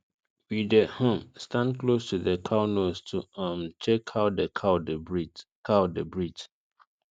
we dey um stand close to the cow nose to um check how the cow dey breathe cow dey breathe